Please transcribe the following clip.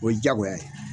O ye diyagoya ye